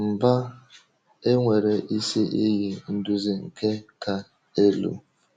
Mba, e nwere isi iyi nduzi nke ka elu.